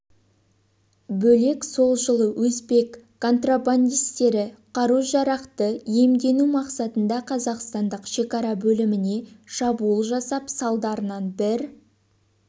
бөлек сол жылы өзбек контрабандистері қару-жарақты иемдену мақсатында қазақстандық шекара бөліміне шабуыл жасап салдарынан бір